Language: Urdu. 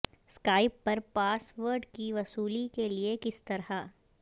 اسکائپ پر پاس ورڈ کی وصولی کے لئے کس طرح